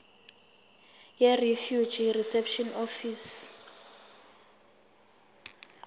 yirefugee reception office